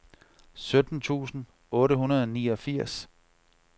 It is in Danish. sytten tusind otte hundrede og niogfirs